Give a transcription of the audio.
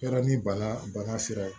Yala ni bana bana sera